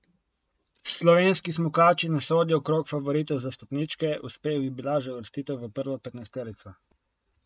Slovenski smukači ne sodijo v krog favoritov za stopničke, uspeh bi bila že uvrstitev v prvo petnajsterico.